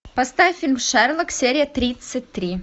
поставь фильм шерлок серия тридцать три